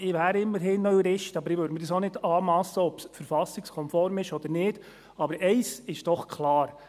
Ich wäre immerhin noch Jurist, aber ich würde mir auch nicht anmassen, zu beurteilen, ob es verfassungskonform ist oder nicht, aber eines ist doch klar: